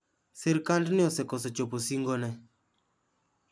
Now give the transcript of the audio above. Sirkandni osekoso chopo singo ne